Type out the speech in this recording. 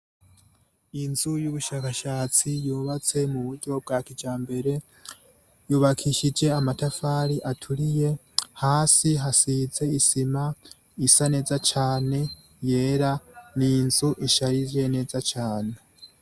Inzu y'ubushakashatsi yubatse mu buryo bwa kijambere yubakishije amatafari aturiye, hasi hasize isima isa neza cane yera ni inzu isharije neza cane.